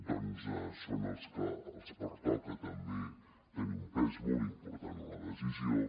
doncs els pertoca també tenir un pes molt important en la decisió